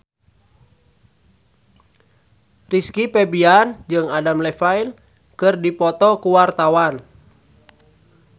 Rizky Febian jeung Adam Levine keur dipoto ku wartawan